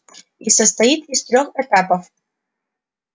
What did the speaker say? и состоит из трёх этапов